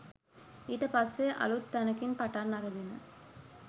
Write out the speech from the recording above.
ඊට පස්සෙ අලුත් තැනකින් පටන් අරගෙන